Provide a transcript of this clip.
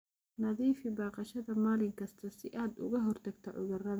Nadiifi baqashada maalin kasta si aad uga hortagto cudurrada.